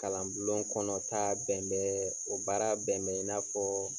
Kalan bulon kɔnɔta bɛnbɛn o baara bɛnbɛn i na fɔɔɔ.